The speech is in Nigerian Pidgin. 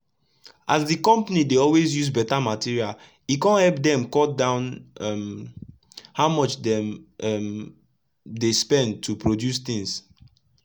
as d compani dey always use better material e kon epp dem cut down um how much dem um dey spend to produce things.